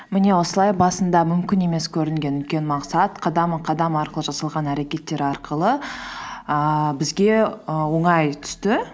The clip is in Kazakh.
міне осылай басында мүмкін емес көрінген үлкен мақсат қадам қадам арқылы жасалған әрекеттер арқылы ііі бізге і оңай түсті